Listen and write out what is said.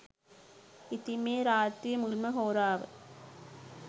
ඉතින් මේ රාත්‍රියේ මුල්ම හෝරාව